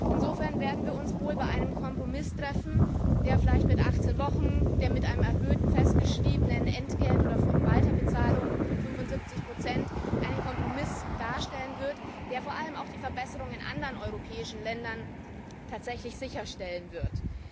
Insofern werden wir uns wohl an einem Punkt treffen, der vielleicht mit achtzehn Wochen, einem erhöhten festgeschriebenen Entgelt oder Weiterbezahlung von 75 einen Kompromiss darstellen wird, der vor allem auch die Verbesserung in anderen europäischen Ländern tatsächlich sicherstellen wird.